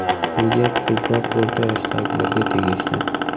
Bu gap ko‘proq o‘rta yoshdagilarga tegishli.